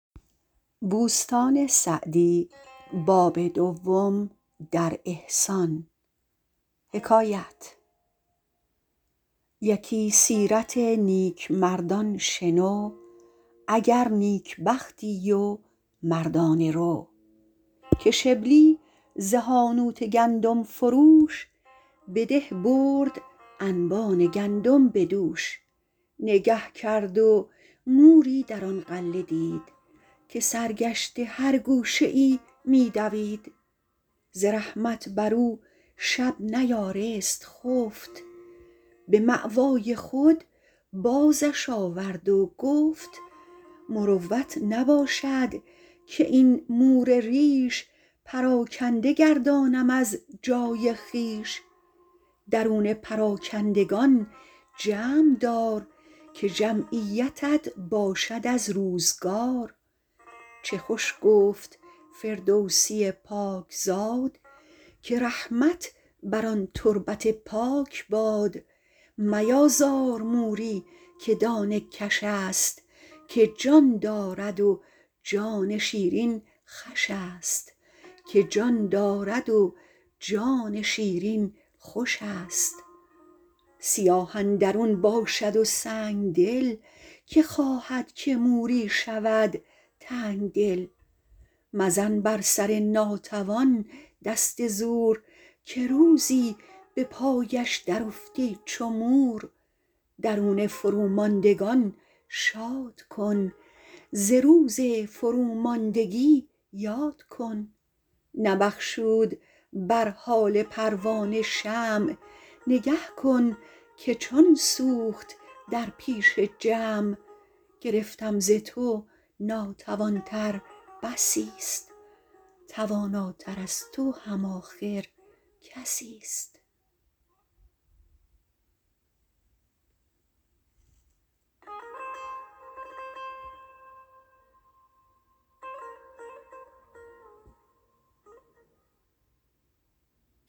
یکی سیرت نیکمردان شنو اگر نیکبختی و مردانه رو که شبلی ز حانوت گندم فروش به ده برد انبان گندم به دوش نگه کرد و موری در آن غله دید که سرگشته هر گوشه ای می دوید ز رحمت بر او شب نیارست خفت به مأوای خود بازش آورد و گفت مروت نباشد که این مور ریش پراکنده گردانم از جای خویش درون پراکندگان جمع دار که جمعیتت باشد از روزگار چه خوش گفت فردوسی پاک زاد که رحمت بر آن تربت پاک باد میازار موری که دانه کش است که جان دارد و جان شیرین خوش است سیاه اندرون باشد و سنگدل که خواهد که موری شود تنگدل مزن بر سر ناتوان دست زور که روزی به پایش در افتی چو مور درون فروماندگان شاد کن ز روز فروماندگی یاد کن نبخشود بر حال پروانه شمع نگه کن که چون سوخت در پیش جمع گرفتم ز تو ناتوان تر بسی است تواناتر از تو هم آخر کسی است